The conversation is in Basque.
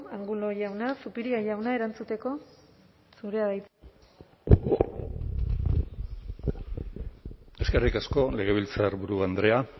angulo jauna zupiria jauna erantzuteko zurea da hitza eskerrik asko legebiltzarburu andrea